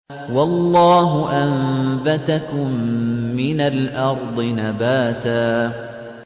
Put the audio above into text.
وَاللَّهُ أَنبَتَكُم مِّنَ الْأَرْضِ نَبَاتًا